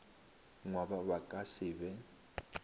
ngwaba ba ka se be